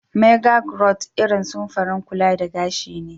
Maga grawt irin samfurin kulla da gashi ne.